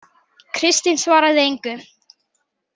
Kristín svaraði engu.